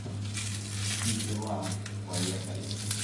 ситилаб поехали